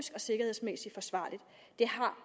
sikkerhedsmæssigt forsvarlige det har